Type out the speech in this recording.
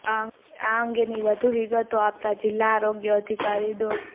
આ અંગેની વધું વિગતો આપતા જિલ્લા આરોગ્ય અધિકારી ડો